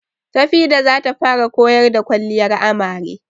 Tafida zata fara koyar da kwalliyar amare